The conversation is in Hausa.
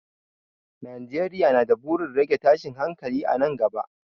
Najeriya na da burin rage tashin hankali a nan gaba.